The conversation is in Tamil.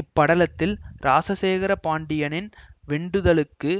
இப்படலத்தில் இராசசேகர பாண்டியனின் வெண்டுதலுக்கு